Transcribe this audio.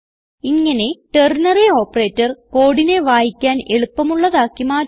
ഇങ്ങനെ ternary operator കോഡിനെ വായിക്കാൻ എളുപ്പമുള്ളതാക്കി മാറ്റുന്നു